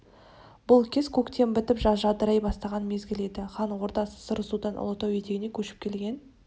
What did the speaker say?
бұл кез көктем бітіп жаз жадырай бастаған мезгіл еді хан ордасы сарысудан ұлытау етегіне көшіп келген